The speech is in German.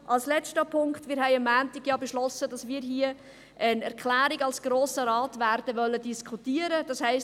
Noch ein letzter Punkt: Wir haben ja am Montag beschlossen, dass der Grosse Rat hier eine Erklärung diskutieren wird.